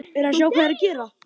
Hvað viltu vita, karl minn?